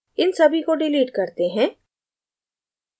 इन सभी को डिलीट करते हैं